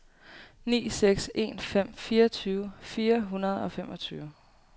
ni seks en fem fireogtyve fire hundrede og femogtyve